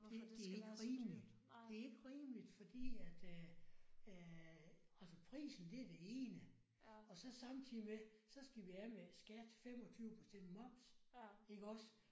Det det ikke rimelig det ikke rimeligt fordi at øh at altså prisen det er det ene og så samtidig med så skal vi af med skat 25 procent moms iggås